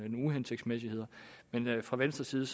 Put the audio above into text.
uhensigtsmæssigheder men fra venstres side